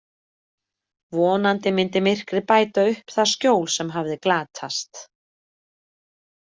Vonandi myndi myrkrið bæta upp það skjól sem hafði glatast.